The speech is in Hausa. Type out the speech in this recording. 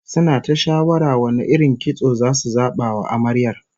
Suna ta shawara wane irin kitso zasu zaba wa Amaryar